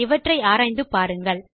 இவற்றை ஆராய்ந்து பாருங்கள்